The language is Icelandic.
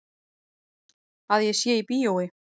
Að ég sé í bíói.